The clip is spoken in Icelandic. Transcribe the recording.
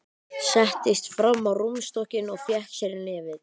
Settist fram á rúmstokkinn og fékk sér í nefið.